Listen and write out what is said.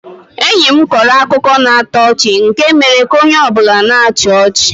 Enyi mkọrọ akụkọ na-atọ ọchị nke mere ka onye ọ bụla na-achị ọchị.